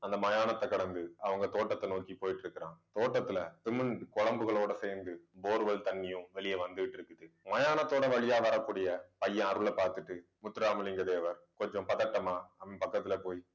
அந்த மயானத்தை கடந்து அவங்க தோட்டத்தை நோக்கி போயிட்டு இருக்குறான் தோட்டத்துல cement குழம்புகளோட சேர்ந்து bore well தண்ணியும் வெளிய வந்துகிட்டு இருக்குது மயானத்தோட வழியா வரக்கூடிய பையன் அருளை பார்த்துட்டு முத்துராமலிங்க தேவர் கொஞ்சம் பதட்டமா அவன் பக்கத்துல போய்